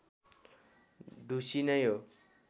ढुसी नै हो